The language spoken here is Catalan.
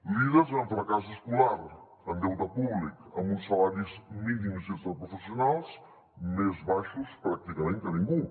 líders en fracàs escolar en deute públic amb uns salaris mínims interprofessionals més baixos pràcticament que ningú